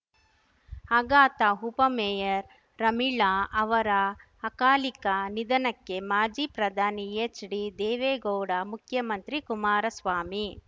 ಆಘಾತ ಉಪಮೇಯರ್‌ ರಮೀಳಾ ಅವರ ಅಕಾಲಿಕ ನಿಧನಕ್ಕೆ ಮಾಜಿ ಪ್ರಧಾನಿ ಎಚ್‌ಡಿದೇವೇಗೌಡ ಮುಖ್ಯಮಂತ್ರಿ ಕುಮಾರಸ್ವಾಮಿ